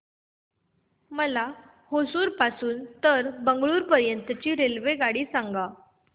मला होसुर पासून तर बंगळुरू पर्यंत ची रेल्वेगाडी सांगा